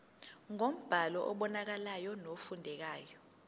ngombhalo obonakalayo nofundekayo